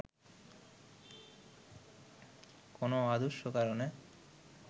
কোনো অদৃশ্য কারণে